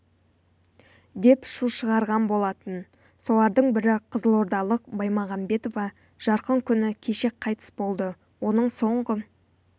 деп шу шығарған болатын солардың бірі қызылордалық баймағамбетова жарқын күні кеше қайтыс болды оның соңғы